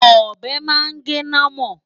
Ọ̀bẹ máa gé námọ̀.